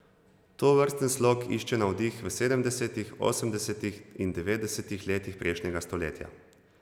Tovrsten slog išče navdih v sedemdesetih, osemdesetih in devetdesetih letih prejšnjega stoletja.